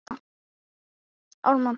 Er það ekki nokkuð sjálfgefið?